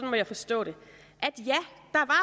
må jeg forstå det